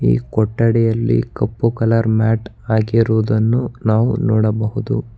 ಈ ಕೊಠಡಿಯಲ್ಲಿ ಕಪ್ಪು ಕಲರ್ ಮ್ಯಾಟ್ ಹಾಕಿರುವುದನ್ನು ನಾವು ನೋಡಬಹುದು.